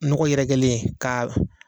Nɔgɔ yɛrɛkɛlen ka